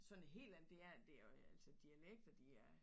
Sådan hel andet det er det er jo altså dialekter de er